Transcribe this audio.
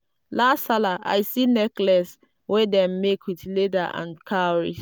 last sallah i see necklace wey dem make with leather and cowries.